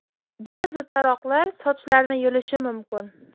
Ba’zi taroqlar sochlarni yulishi mumkin.